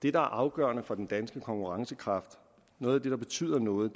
er afgørende for den danske konkurrencekraft noget af det der betyder noget